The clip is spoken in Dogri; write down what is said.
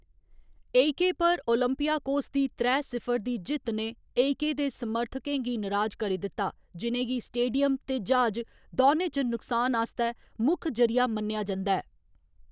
एईके पर ओलंपियाकोस दी त्रै सिफर दी जित्त ने एईके दे समर्थकें गी नराज करी दित्ता, जि'नेंगी स्टेडियम ते ज्हाज दौनें च नुकसान आस्तै मुक्ख जरि'या मन्नेआ जंदा ऐ।